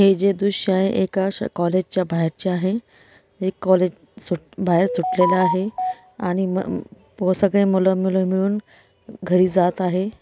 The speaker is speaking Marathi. हे जे दृश्य आहे एका अशा कॉलेजच्या बाहेरच्या आहे हे कॉलेज सूट बाहेर सुटलेला आहे आणि म व सगळे मुलं-मुली मिळून घरी जात आहे.